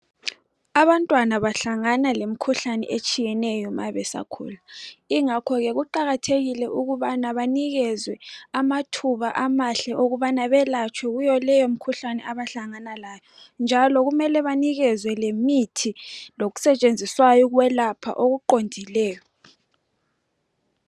Abantwana bahlangana lemikhuhlane etshiyeneyo mabesakhula. Ingakhoke kuqakathekile ukubana banikezwe amathuba amahle okubana belatshwe kuyo leyo mikhuhlane abahlangana layo. Njalo kumele banikezwe lemithi lokusetshenziswayo ukwelapha okuqondileyo.